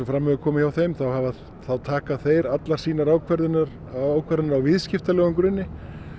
fram hefur komið hjá þeim þá taka þeir allara sínar ákvarðanir ákvarðanir á viðskiptalegum grunni